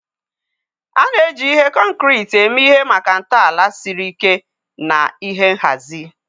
A na-eji ihe concrete eme ihe maka ntọala siri ike na ihe nhazi.